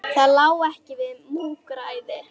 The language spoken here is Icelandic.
Það lá ekki við múgræði